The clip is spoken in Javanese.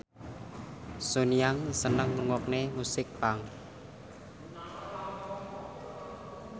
Sun Yang seneng ngrungokne musik punk